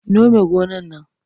Nome gonar nan!